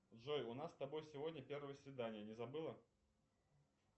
джой у нас с тобой сегодня первое свидание не забыла